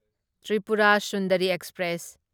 Tripura Sundari express